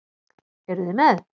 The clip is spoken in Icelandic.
Eruð þið með?